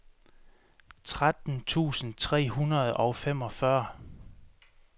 tretten tusind tre hundrede og femogfyrre